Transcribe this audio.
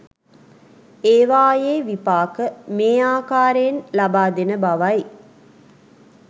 ඒවායේ විපාක මේ ආකාරයෙන් ලබා දෙන බවයි